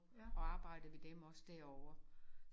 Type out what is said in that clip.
Og arbejde ved dem også derovre